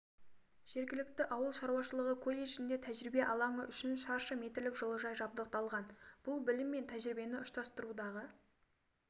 жергілікті ауыл шаруашылығы колледжінде тәжірибе алаңы үшін шаршы метрлік жылыжай жабдықталған бұл білім мен тәжірибені ұштастырудағы